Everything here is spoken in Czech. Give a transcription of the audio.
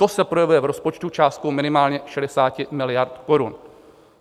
To se projevuje v rozpočtu částkou minimálně 60 miliard korun.